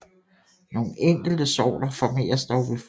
Nogle enkelte sorter formeres dog ved frø